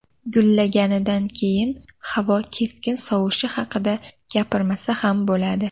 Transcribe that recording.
Gullaganidan keyin havo keskin sovishi haqida gapirmasa ham bo‘ladi”.